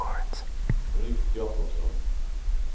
Rut Jacobsson